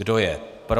Kdo je pro?